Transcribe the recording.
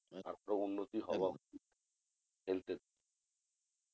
তারপর উন্নতি হওয়া অবধি health এর